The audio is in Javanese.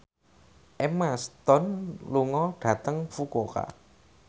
Emma Stone lunga dhateng Fukuoka